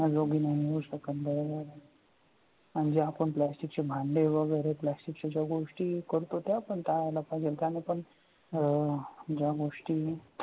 म्हणजे आपण plastic चे भांडे वगैरे प्लास्टिकच्या ज्या गोष्टी वापर करतो त्या आपण टाळायला पाहिजे त्याने पण अह ज्या गोष्टी